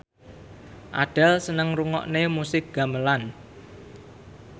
Adele seneng ngrungokne musik gamelan